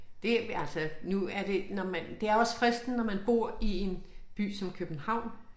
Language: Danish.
Det altså nu er det når man det er også fristende når man bor i en by som København